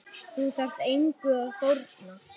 Þú þarft engu að fórna.